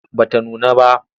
Ba ta nuna ba.